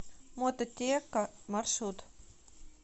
мототека маршрут